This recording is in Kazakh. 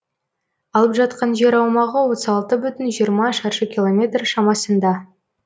алып жатқан жер аумағы отыз алты бүтін жиырма шаршы километр шамасында